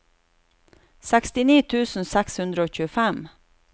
sekstini tusen seks hundre og tjuefem